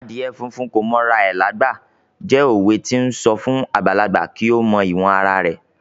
"Adìyẹ funfun kò mọ ara rẹ lágbà" jẹ́ òwe to ń sọ fún àgbàlagbà kí ó mọ ìwọ̀n ara rẹ̀.